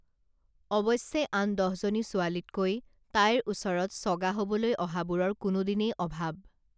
অৱশ্যে আন দহজনী ছোৱালীতকৈ তাইৰ ওচৰত চগা হবলৈ অহাবোৰৰ কোনোদিনেই অভাৱ